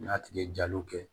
N'a tigi ye jaluw kɛ